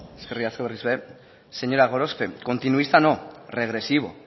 eskerrik asko señora gorospe continuista no regresivo